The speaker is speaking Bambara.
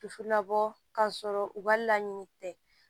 Dusu labɔ ka sɔrɔ u ka laɲini tɛ